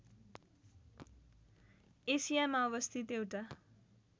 एसियामा अवस्थित एउटा